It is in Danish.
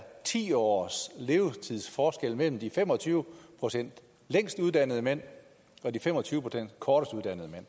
ti års levetidsforskel mellem de fem og tyve procent længst uddannede mænd og de fem og tyve procent kortest uddannede mænd